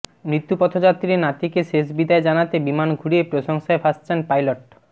মৃত্যুপথযাত্রী নাতিকে শেষ বিদায় জানাতে বিমান ঘুরিয়ে প্রশংসায় ভাসছেন পাইলট